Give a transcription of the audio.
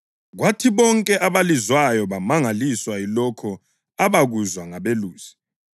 kwathi bonke abalizwayo bamangaliswa yilokho abakuzwa ngabelusi.